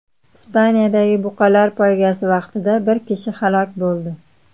Ispaniyadagi buqalar poygasi vaqtida bir kishi halok bo‘ldi.